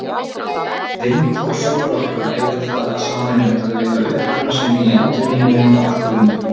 Vind- og sólarorka eiga það sameiginlegt að eiga uppruna sinn í endurnýjanlegum orkulindum.